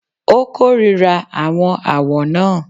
Ó kórìíra àwọn àwọ̀ náà.